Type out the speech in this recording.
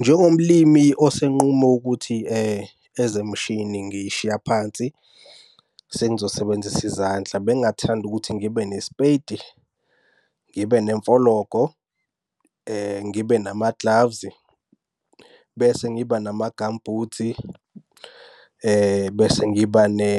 Njengomlimi osenqume ukuthi ezemshini ngiy'shiya phansi, sengizosebenzisa izandla. Bengingathanda ukuthi ngibe nespeti, ngibe nemfologo, ngibe nama-gloves, bese ngiba nama-gum boots, bese ngiba ne